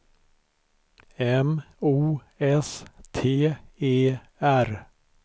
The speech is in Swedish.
M O S T E R